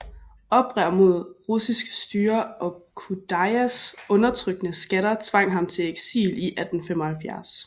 Oprør mod russisk styre og Khudayars undertrykkende skatter tvang ham til eksil i 1875